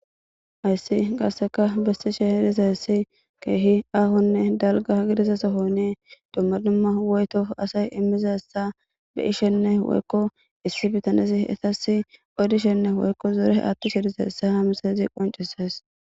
ayssi qaasseka bessi she herizayessi keehi ahonne dalga gididasa sohonie dumma dumma woyto asay immizassa be ishenne woykko issi bitanezi etasi odishenne woykko zore attushediza essa ha misayizi qoncisas